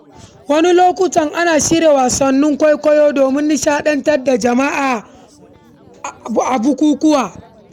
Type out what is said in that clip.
A wasu lokuta, ana shirya wasannin kwaikwayo domin nishaɗantar da jama’a a bukukuwa.